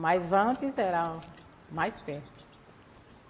Mas antes era mais perto.